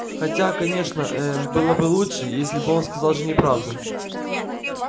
хотя конечно э-э было бы лучше если бы он сказал жене правду